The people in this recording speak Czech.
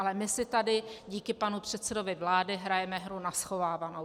Ale my si tady díky panu předsedovi vlády hrajeme hru na schovávanou.